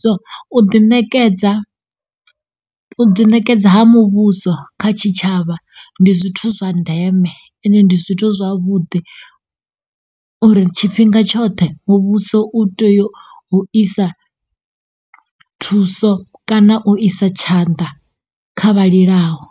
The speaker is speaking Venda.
So, u ḓi ṋekedza, u ḓi nekeda ha muvhuso kha tshitshavha ndi zwithu ndeme ende ndi zwithu zwavhuḓi uri tshifhinga tshoṱhe muvhuso u teyo u isa thuso kana u isa tshanḓa kha vha lilaho.